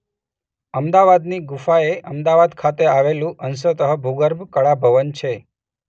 અમદાવાદની ગુફા એ અમદાવાદ ખાતે આવેલું અંશત ભૂગર્ભ કળા ભવન છે.